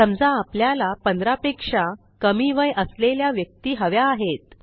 समजा आपल्याला 15पेक्षा कमी वय असलेल्या व्यक्ती हव्या आहेत